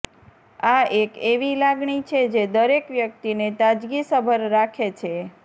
આ એક એવી લાગણી છે જે દરેક વ્યક્તિને તાજગીસભર રાખે છે